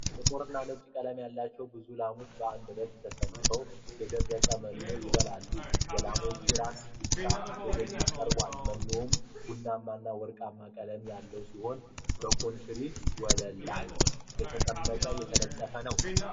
ጥቁርና ነጭ ቀለም ያላቸው ብዙ ላሞች በአንድ ረድፍ ተሰልፈው የደረቀ መኖ ይበላሉ፡፡ የላሞቹ ራስ ብቻ ወደፊት ቀርቧል፡፡ መኖው ቡናማና ወርቃማ ቀለም ሲኖረው በኮንክሪት ወለል ላይ ተነጥፏል፡፡